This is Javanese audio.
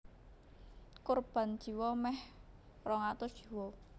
Korban jiwa mèh rong atus jiwa